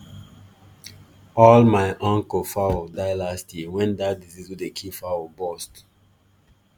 all my uncle fowl die last year when that disease wey dey kill fowl bust